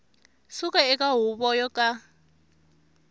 suka eka huvo yo ka